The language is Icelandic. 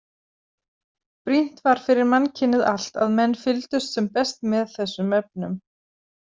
Brýnt var fyrir mannkynið allt að menn fylgdust sem best með þessum efnum.